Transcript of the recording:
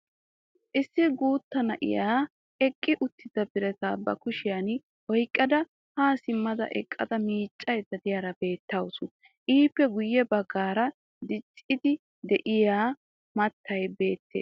Issi guuttaa na'ay eqqi uttida birataa ba kushiyan oyqada ha simma eqqada miiccayda de'iyaara beettawusu. Ippe guye baggaara dicciidi de'iya maatay beettees.